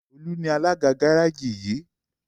Olu ní Alága Gáréèjì yi.